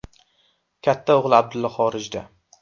Katta o‘g‘li Abdullo xorijda.